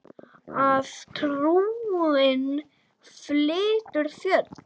Að trúin flytur fjöll.